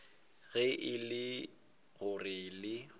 ge e le gore le